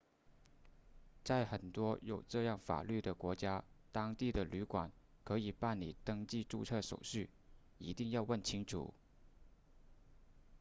在很多有这样法律的国家当地的旅馆可以办理登记注册手续一定要问清楚